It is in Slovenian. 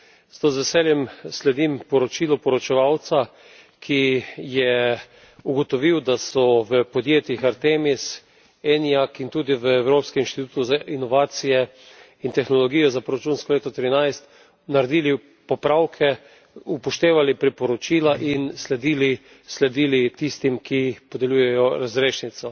Zato z veseljem sledim poročilu poročevalca, ki je ugotovil, da so v podjetjih Artemis, Eniac in tudi v Evropskem inštitutu za inovacije in tehnologijo za proračunsko leto 2013 naredili popravke, upoštevali priporočila in sledili tistim, ki podeljujejo razrešnico.